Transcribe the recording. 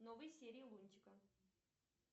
новые серии лунтика